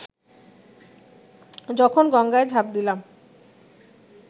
যখন গঙ্গায় ঝাঁপ দিলাম